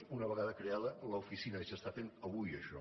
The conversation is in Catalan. és una vegada creada l’oficina i es fa avui això